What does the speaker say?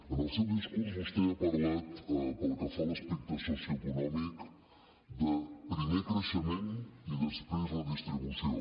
en el seu discurs vostè ha parlat pel que fa a l’aspecte socioeconòmic de primer creixement i després redistribució